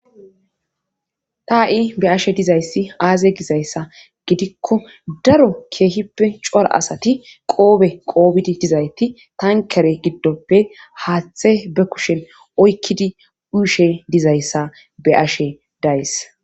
ta7i be ashe dizayssi aaze gizayssa gidikko daro keehippe cora asati qoobe qoobidi dizayti tankere giddoppe haaththe be kushen oykkidi uushe dizayssa be ashe days